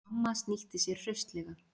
Mamma snýtti sér hraustlega.